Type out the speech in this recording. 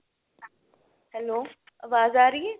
hello ਆਵਾਜ਼ ਆ ਰਹੀ ਏ